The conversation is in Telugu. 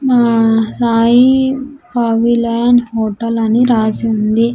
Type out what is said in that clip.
మా సాయి ఆవిలన్ హోటల్ అని రాసి ఉంది.